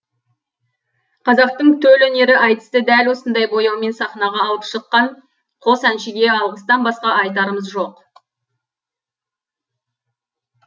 қазақтың төл өнері айтысты дәл осындай бояумен сахнаға алып шыққан қос әншіге алғыстан басқа айтарымыз жоқ